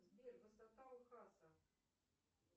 сбер высота лхаса